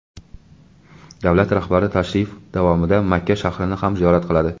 Davlat rahbari tashrif davomida Makka shahrini ham ziyorat qiladi.